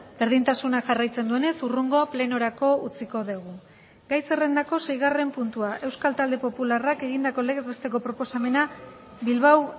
berdintasuna jarraitzen duenez hurrengo plenorako utziko dugu gai zerrendako seigarren puntua euskal talde popularrak egindako legez besteko proposamena bilbao